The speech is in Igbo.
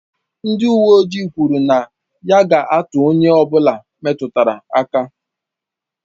Ndị uwe ojii kwuru na ya ga-atụ onye ọ bụla metụtara aka.